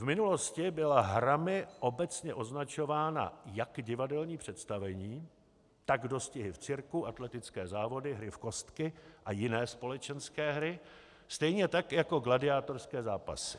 V minulosti byla hrami obecně označována jak divadelní představení, tak dostihy v cirku, atletické závody, hry v kostky a jiné společenské hry stejně tak jako gladiátorské zápasy.